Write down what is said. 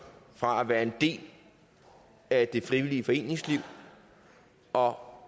fra at være en del af det frivillige foreningsliv og